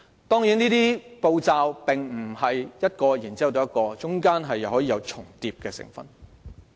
當然，這些步驟並非一個接一個，中間可以有重疊的成分。